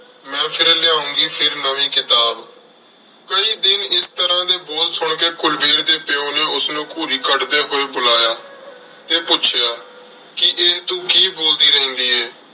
ਮੈਂ ਫਿਰ ਲਿਆਉਂਗੀ ਫਿਰ ਨਵੀਂ ਕਿਤਾਬ। ਕਈ ਦਿਨ ਇਸ ਤਰ੍ਹਾਂ ਦੇ ਬੋਲ ਸੁਣ ਕੇ ਕੁਲਵੀਰ ਦੇ ਪਿਉ ਨੇ ਉਸਨੂੰ ਘੂਰੀ ਕੱਢਦੇ ਹੋਏ ਬੁਲਾਇਆ ਤੇ ਪੁੱਛਿਆ ਕਿ ਇਹ ਤੂੰ ਕੀ ਬੋਲਦੀ ਰਹਿੰਦੀ ਏ?